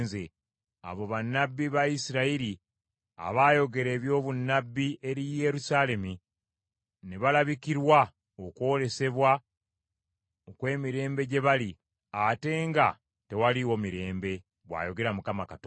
abo bannabbi ba Isirayiri abaayogera eby’obunnabbi eri Yerusaalemi ne balabikirwa okwolesebwa ow’emirembe gye bali, ate nga tewaaliwo mirembe, bw’ayogera Mukama Katonda.” ’